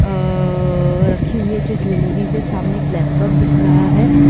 अ रखी हुई हैजो ज्वेलरीज है सामने एक लैपटॉप दिख रहा है।